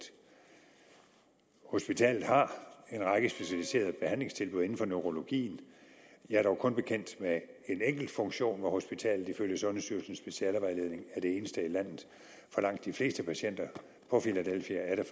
hospitalet har en række specialiserede behandlingstilbud inden for neurologien jeg er dog kun bekendt med en enkelt funktion hvor hospitalet ifølge sundhedsstyrelsens specialevejledning er det eneste i landet for langt de fleste patienter på filadelfia er der